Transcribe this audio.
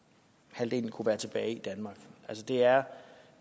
halvdelen kunne være tilbage i danmark det er